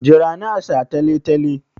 Jira ni a shataletale!